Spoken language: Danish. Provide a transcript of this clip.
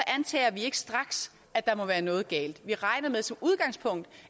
antager vi ikke straks at der må være noget galt vi regner som udgangspunkt